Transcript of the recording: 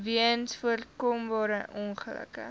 weens voorkombare ongelukke